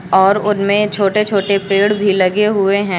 और उनमें छोटे छोटे पेड़ भी लगे हुए हैं।